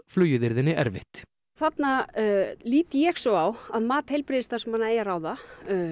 flugið yrði henni erfitt þarna lít ég svo á að mat heilbrigðisstarfsmanna eigi að ráða